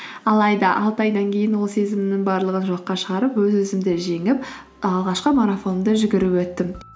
алайда алты айдан кейін ол сезімнің барлығын жоққа шығарып өз өзімді жеңіп алғашқы марафонымды жүгіріп өттім